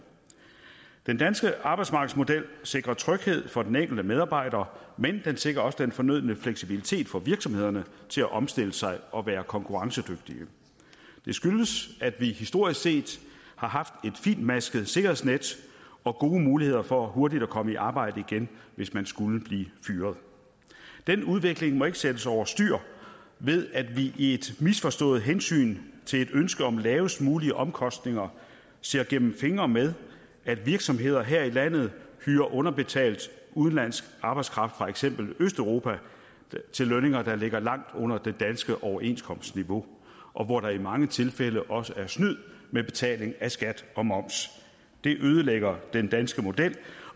den danske arbejdsmarkedsmodel sikrer tryghed for den enkelte medarbejder men den sikrer også den fornødne fleksibilitet for virksomhederne til at omstille sig og være konkurrencedygtige det skyldes at vi historisk set har haft et fintmasket sikkerhedsnet og gode muligheder for hurtigt at komme i arbejde igen hvis man skulle blive fyret den udvikling må ikke sættes over styr ved at vi i et misforstået hensyn til et ønske om lavest mulige omkostninger ser gennem fingre med at virksomheder her i landet hyrer underbetalt udenlandsk arbejdskraft fra eksempelvis østeuropa til lønninger der ligger langt under det danske overenskomstniveau og hvor der i mange tilfælde også er snyd med betaling af skat og moms det ødelægger den danske model